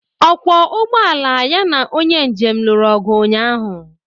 Ọgwọ ụgbụ ala ya na onye njem lụrụ ọgụ ụnyaahụ.